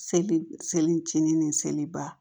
Seli seli cɛnni ni seliba